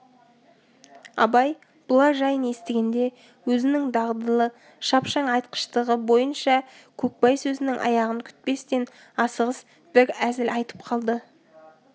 абай бұлар жайын естігенде өзінің дағдылы шапшаң айтқыштығы бойынша көкбай сөзінің аяғын күтпестен асығыс бір әзіл айтып қалды